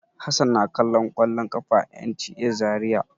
Hassan na kallon kwallon ƙafa a NTA Zariya.